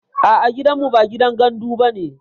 A'a gidanmu ba gidan gandu bane